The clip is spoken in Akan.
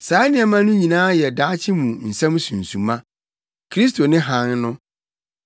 Saa nneɛma no nyinaa yɛ daakye mu nsɛm sunsuma. Kristo ne hann no.